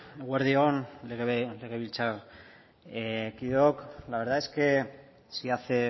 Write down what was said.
eguerdi on legebiltzarkideok la verdad es que si hace